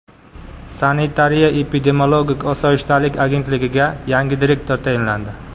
Sanitariya-epidemiologik osoyishtalik agentligiga yangi direktor tayinlandi.